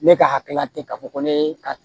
Ne ka hakilila tɛ ka fɔ ko ne ka